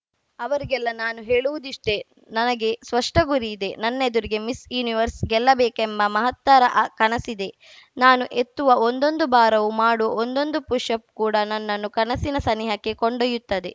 ಅವರಿಗೆಲ್ಲಾ ನಾನು ಹೇಳುವುದಿಷ್ಟೆ ನನಗೆ ಸ್ಪಷ್ಟಗುರಿ ಇದೆ ನನ್ನೆದುರಿಗೆ ಮಿಸ್ಸ್ ಯೂನಿವರ್ಸ್‌ ಗೆಲ್ಲಬೇಕೆಂಬ ಮಹತ್ತರ ಕನಸಿದೆ ನಾನು ಎತ್ತುವ ಒಂದೊಂದು ಭಾರವೂ ಮಾಡುವ ಒಂದೊಂದು ಪುಶ್‌ ಅಪ್‌ ಕೂಡ ನನ್ನನ್ನು ಕನಸಿನ ಸನಿಹಕ್ಕೆ ಕೊಂಡೊಯ್ಯುತ್ತದೆ